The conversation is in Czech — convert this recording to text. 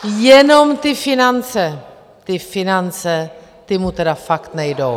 Jenom ty finance, ty finance, ty mu tedy fakt nejdou!